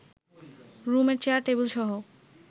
রুমের চেয়ার টেবিলসহ